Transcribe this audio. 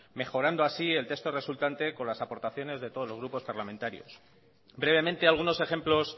mejorando así el texto resultante con las aportaciones de todos los grupos parlamentarios brevemente algunos ejemplos